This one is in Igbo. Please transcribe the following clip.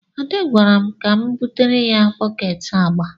Ade gwara m ka m butere ya bọket agba.